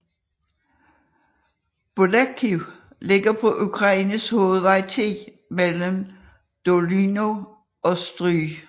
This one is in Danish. Bolekhiv ligger på Ukraines hovedvej 10 mellem Dolyna og Stryj